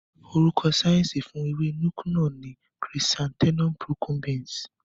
Orúkọ síẹ̀nsì fún ewé Nuke-Noh ni Chrysanthemum Procumbens.